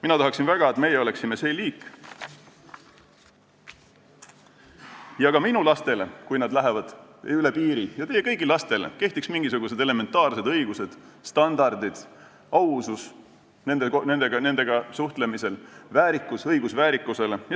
Mina tahaksin väga, et meie oleksime see liik ja et ka minu laste kohta, kui nad lähevad üle piiri, ja teie kõigi laste kohta kehtiksid mingisugused elementaarsed õigused, standardid, ausus nendega suhtlemisel, nende õigus väärikusele.